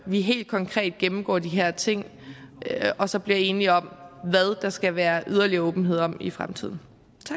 vi helt konkret gennemgår de her ting og så bliver enige om hvad der skal være yderligere åbenhed om i fremtiden